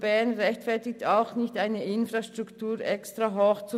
Bern rechtfertigt eine Extra-Infrastruktur nicht.